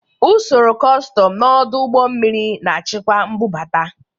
Usoro kọstọm n'ọdụ ụgbọ mmiri na-achịkwa mbubata.